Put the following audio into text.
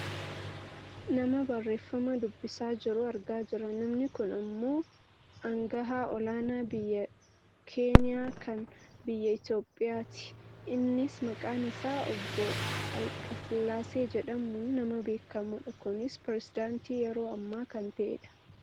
nama barreefama dubbisaa jiru argaa jirra. Namni kun ammoo angahaa olaanaa biyya keenya kan biyya Itoopiyaati. Innis maqaan isaa obbo alqassillaasee jedhamuun nama beekkamudha. kunis peresedaantii yeroo ammaa kan ta'edha.